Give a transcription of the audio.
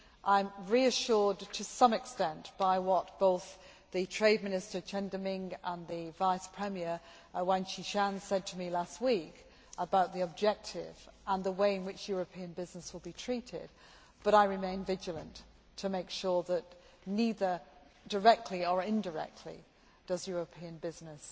I am reassured to some extent by what both the Trade Minister, Chen Deming, and the Vice Premier, Tang Jiaxuan, said to me last week about the objective and the way in which European businesses would be treated, but I remain vigilant to make sure that neither directly nor indirectly does European business